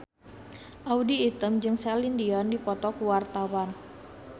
Audy Item jeung Celine Dion keur dipoto ku wartawan